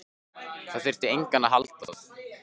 Það þyrfti enginn að halda að